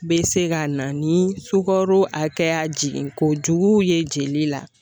Be se ka na ni sukaro hakɛya jiginkojugu ye jeli la